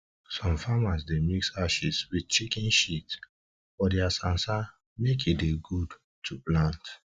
some farmers dey mix ashes wit chicken shit for dia sansan make e dey good to plant